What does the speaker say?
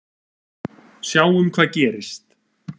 Sjáum hvað gerist.